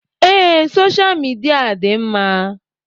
Ee, soshal midia dị mma